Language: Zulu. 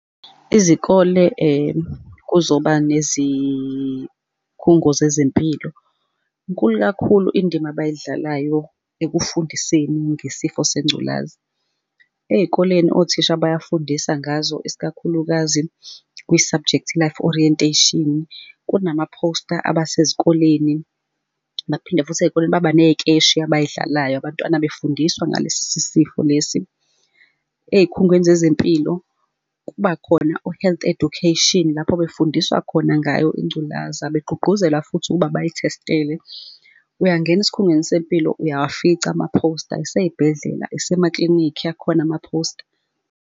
Izikole kuzoba nezikhungo zezempilo. Inkulu kakhulu indima abayidlalayo ekufundiseni ngesifo sengculazi. Ey'koleni othisha bayafundisa ngazo isikakhulukazi kwi-subject life orientation. Kunama phosta aba sezikoleni, baphinde futhi ey'koleni baba ney'keshi abay'dlalayo abantwana befundiswa ngalesi sifo lesi. Ey'khungweni zezempilo kuba khona o-health education lapho befundiswa khona ngayo ingculaza, begqugquzela futhi ukuba bayithestele. Uyangena esikhungweni sempilo uyawafica amaphosta, isey'bhedlela, isemaklinikhi, akhona amaphosta.